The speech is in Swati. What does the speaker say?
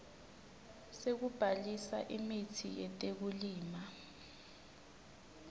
sekubhalisa imitsi yetekulima